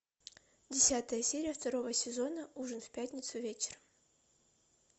десятая серия второго сезона ужин в пятницу вечером